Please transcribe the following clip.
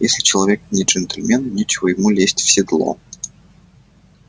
если человек не джентльмен нечего ему лезть в седло